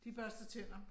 De børster tænder